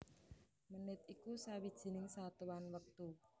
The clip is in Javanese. Menit iku sawijining satuan wektu